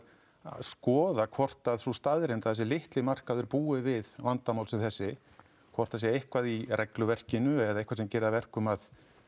skoða hvort að sú staðreynd að þessi litli markaður búi við vandamál sem þessi hvort það sé eitthvað í regluverkinu eða eitthvað sem gerir það að verkum að